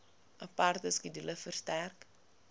aparte skedule verstrek